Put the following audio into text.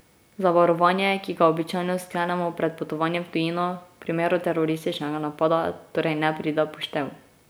Zavarovanje, ki ga običajno sklenemo pred potovanjem v tujino, v primeru terorističnega napada torej ne pride v poštev.